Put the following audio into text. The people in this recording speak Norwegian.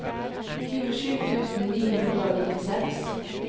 tjuesju tusen ni hundre og nittiseks